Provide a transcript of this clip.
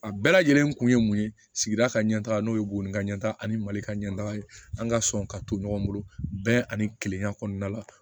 A bɛɛ lajɛlen kun ye mun ye sigida ka ɲɛ taga n'o ye boori ka ɲɛtaga ani mali ka ɲɛ taga ye an ka sɔn ka to ɲɔgɔn bolo bɛɛ ani kilenya kɔnɔna la